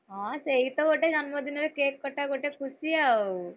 ହଁ ସିଏ ସେଇତ ଗୋଟେ ଜନ୍ମ ଦିନରେ cake କଟା ଗୋଟେ ଖୁସି ଆଉ!